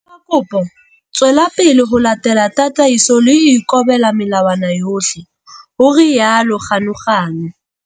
Ka kopo tswela pele ho latela tataiso le ho ikobela melawana yohle, ho rialo Ganuganu.